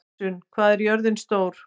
Gissunn, hvað er jörðin stór?